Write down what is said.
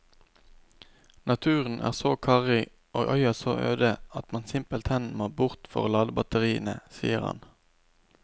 Naturen er så karrig og øya så øde at man simpelthen må bort for å lade batteriene, sier han.